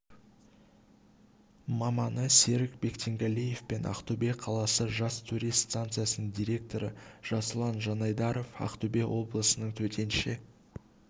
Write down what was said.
маманы серік бектенгалиев пен ақтөбе қаласы жас турист станциясының директоры жасұлан жанайдаров ақтөбе облысының төтенше